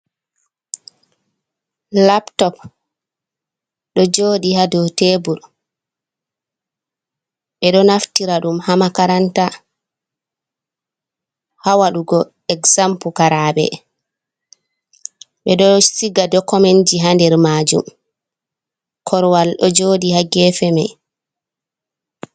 Laptop ɗo jooɗi ha dou tebur. Ɓe ɗo naftira ɗum ha makaranta, ha waɗugo eksam pukaraɓe. Ɓe ɗo siga dokomen ji ha nder maajum. Korwal ɗo jooɗi ha gefe mei.